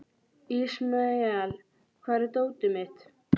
Ismael, hvar er dótið mitt?